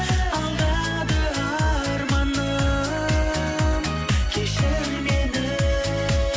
алдады арманым кешір мені